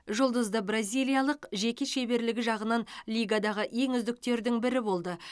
жұлдызды бразилиялық жеке шеберлігі жағынан лигадағы ең үздіктердің бірі болды